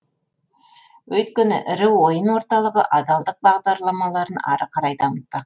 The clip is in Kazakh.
өйткені ірі ойын орталығы адалдық бағдарламаларын ары қарай дамытты